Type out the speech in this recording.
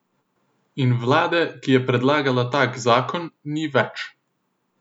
In vlade, ki je predlagala tak zakon, ni več.